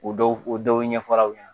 O dɔw o dɔw ɲɛfɔlaw ye